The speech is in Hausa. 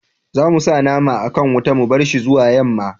za mu sa naman a kan wuta mu barshi zuwa yamma